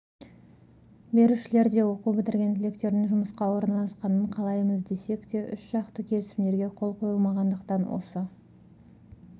берушілер де оқу бітірген түлектердің жұмысқа орналасқанын қалаймыз десек те үшжақты келісімдерге қол қойылмағандықтан осы